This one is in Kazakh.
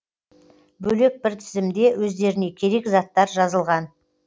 бөлек бір тізімде өздеріне керек заттар жазылған